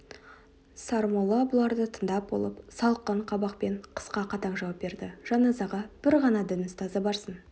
сармолла бұларды тыңдап болып салқын қабақпен қысқа қатаң жауап берді жаназаға бір ғана дін ұстазы барсын